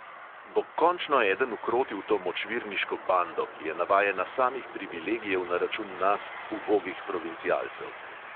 Bo končno eden ukrotil to močvirniško bando, ki je navajena samih privilegijev na račun nas, ubogih provincialcev.